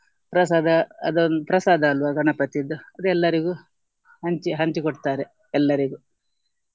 ಪ್ರಸಾದ ಅದನ್ನು ಪ್ರಸಾದ ಅಲ್ವ ಗಣಪತಿಯಿದ್ದು ಅದು ಎಲ್ಲರಿಗೂ ಹಂಚಿ ಹಂಚಿ ಕೊಡ್ತಾರೆ ಎಲ್ಲರಿಗೂ.